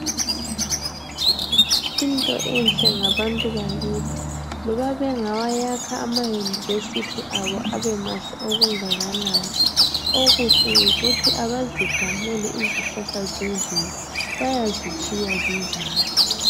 Into enhle ngabantu bakathi, loba bengawayakha amayunivesithi abo abe mahle okungakanani okuhle yikuthi abazigamuli izihlahla zemvelo, bayazitshiya zinjalo.